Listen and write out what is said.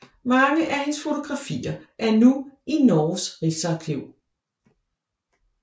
Mange af hendes fotografier er nu i Norges Riksarkiv